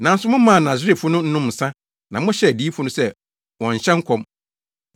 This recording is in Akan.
“Nanso momaa Naserefo no nom nsa na mohyɛɛ adiyifo no sɛ wɔnnhyɛ nkɔm.